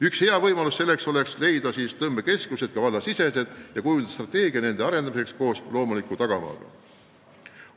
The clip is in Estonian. Üks hea võimalus seda teha on loomuliku tagamaaga tõmbekeskuste, sh ka vallasiseste tõmbekeskuste kujundamine, milleks peab olema oma strateegia.